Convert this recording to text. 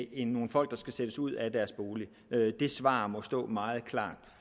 end nogle folk der skal sættes ud af deres bolig det svar må stå meget klart